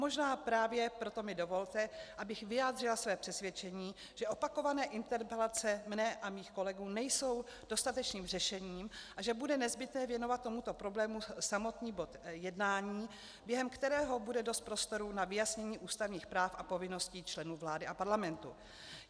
Možná právě proto mi dovolte, abych vyjádřila své přesvědčení, že opakované interpelace moje a mých kolegů nejsou dostatečným řešením a že bude nezbytné věnovat tomuto problému samotný bod jednání, během kterého bude dost prostoru na vyjasnění ústavních práv a povinností členů vlády a parlamentu.